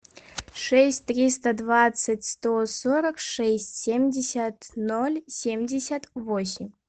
шесть триста двадцать сто сорок шесть семьдесят ноль семьдесят восемь